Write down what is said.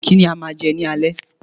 Kí ni a máa jẹ ní alẹ́